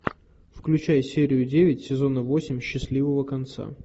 включай серию девять сезона восемь счастливого конца